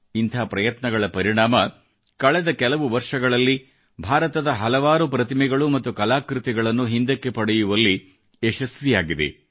ಇಂಥ ಪ್ರಯತ್ನಗಳ ಪರಿಣಾಮ ಕಳೆದ ಕೆಲವು ವರ್ಷಗಳಲ್ಲಿ ಭಾರತ ಹಲವಾರು ಪ್ರತಿಮೆಗಳು ಮತ್ತು ಕಲಾಕೃತಿಗಳನ್ನು ಹಿಂದಕ್ಕೆ ಪಡೆಯುವಲ್ಲಿ ಯಶಸ್ವಿಯಾಗಿದೆ